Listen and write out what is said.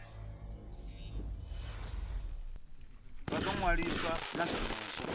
vha ḓo ṅwaliswa na zwenezwo